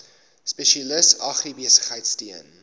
spesialis agribesigheid steun